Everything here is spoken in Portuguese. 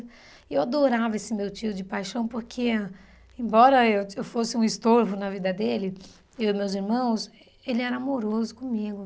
E eu adorava esse meu tio de paixão, porque, embora eu eu fosse um estorvo na vida dele, eu e meus irmãos, ele era amoroso comigo.